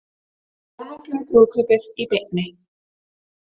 Konunglega brúðkaupið í beinni